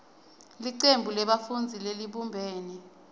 licembu lebafundzi lelibumbene